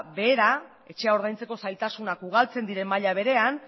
behera etxea ordaintzeko zailtasunak ugaltzen diren maila berean